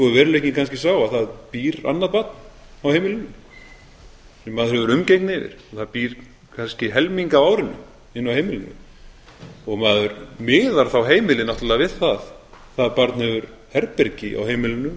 veruleikinn kannski sá að það býr annað barn á heimilinu sem maður hefur umgengni við og það býr kannski helming af árinu inni á heimilinu og maður miðar þá heimilið náttúrlega við það það barn hefur herbergi á